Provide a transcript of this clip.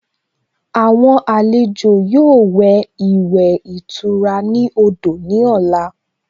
Àwọn àlejò yóò wẹ̀ ìwẹ̀ ìtura ní odò ní ọ̀la